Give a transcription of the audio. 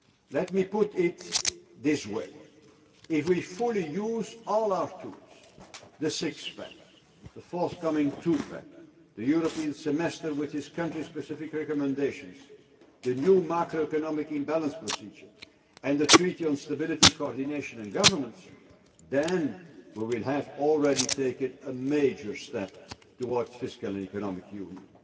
Let me put it this way if we fully use all our tools the six pack, the forthcoming two pack, the European Semester with its country specific recommendations, the new macroeconomic imbalance procedure and the Treaty on Stability, Coordination and Governance then we will have already taken a major step towards fiscal and economic union.